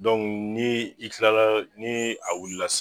Dɔnku ni i kilala ni a wulila sisan